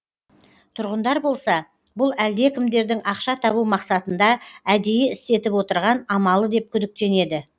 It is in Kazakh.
тұрғындар болса бұл әлдекімдердің ақша табу мақсатында әдейі істетіп отырған амалы деп күдіктенеді